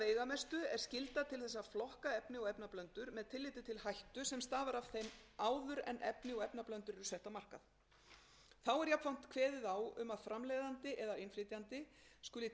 er skylda til þess að flokka efni og efnablöndur með tilliti til hættu sem stafar af þeim áður en efni og efnablöndur eru sett á markað þá er jafnframt kveðið á um að framleiðandi eða innflytjandi skuli